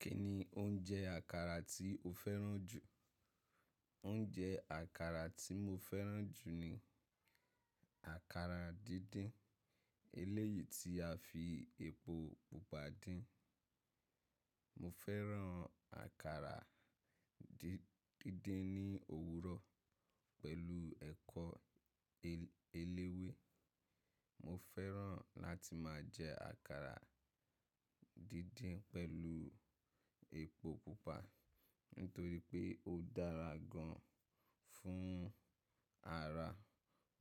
Kí ni oúnjẹ àkàrà tí o fẹ́ràn jù? Oúnjẹ àkàrà tí mo fẹ́ràn jù ni àkàrà díndín, eléyìí tí a fi epo Pupa dín. Mo fẹ́ràn àkàrà díndín ní òwúrọ̀ pẹ̀lú ẹ̀kọ́ eléwé. Mo fẹ́ràn láti máa jẹ àkàrà dídín pẹ̀lú epo Pupa nítorí pé ó dára gan fún ara,